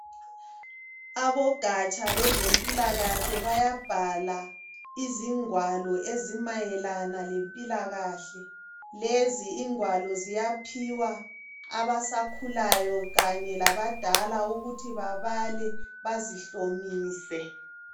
Abogatsha lwezempilakahle bayabhala izingwalo ezimayelana lempilakahle. Lezi ingwalo ziyaphiwa abasakhulayo Kanye labadala ukuthi babale bazihlomise.